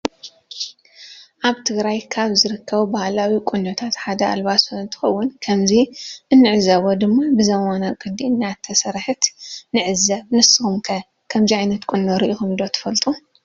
አበ ትግራየ ካበ ዝርከቡ ባሀላዊ ቁኖታተ ሓደ አልባሶ እንትኮን ከምዚ እንዕዞቦ ድማ ብዘመናዊ ቅዲ እናተሰረሐት ንዕዘብ ንስኩም ከ ክምዚ ዓይነት ቁኖ ሪኩም ዶ ትፈልጡ?